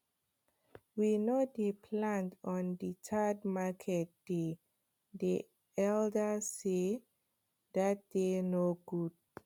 we no dey plant on the third market day day elders sey that day no good